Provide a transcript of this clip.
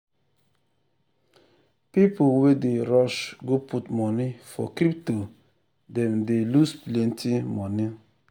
people wey dey rush go put money for crypto them dey loose plenty money.